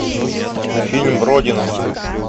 фильм родина